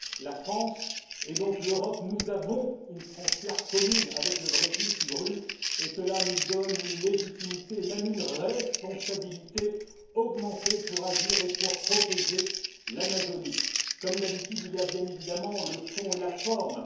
La France et donc l'Europe, nous avons une frontière commune avec le Brésil, qui brûle, et cela nous donne une légitimité et même une responsabilité augmentée pour agir et pour protéger l'Amazonie. Comme d'habitude, il y a bien évidemment le fond et la forme.